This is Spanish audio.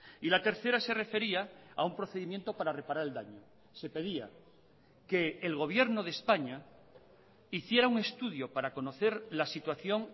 y la tercera se refería a un procedimiento para reparar el daño se pedía que el gobierno de españa hiciera un estudio para conocer la situación